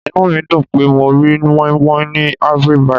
Inú mi dùn pé mo rí moin-moin ní Ivory -bite.